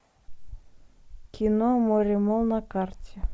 кино моремолл на карте